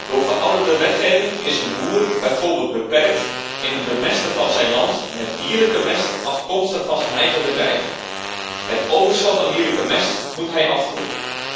Door verouderde wetgeving is een boer bijvoorbeeld beperkt in het bemesten van zijn land met dierlijke mest, afkomstig van zijn eigen bedrijf. Het overschot aan dierlijke mest moet hij afvoeren.